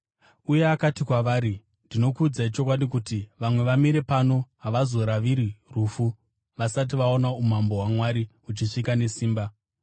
Uye akati kwavari, “Ndinokuudzai chokwadi, kuti vamwe vamire pano havazoraviri rufu vasati vaona umambo hwaMwari huchisvika nesimba.”